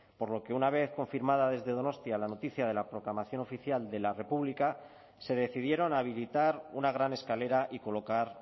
por lo que una vez confirmada desde donostia la noticia de la proclamación oficial de la república se decidieron a habilitar una gran escalera y colocar